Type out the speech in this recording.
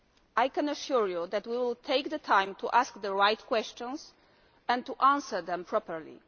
I can assure you that we will take the time to ask the right questions and to answer them properly.